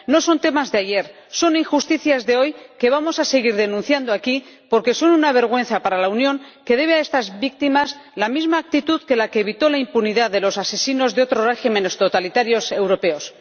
No son temas de ayer, son injusticias de hoy que vamos a seguir denunciando aquí porque son una vergüenza para la Unión, que debe a estas víctimas la misma actitud que la que evitó la impunidad de los asesinos de otros regímenes totalitarios europeos.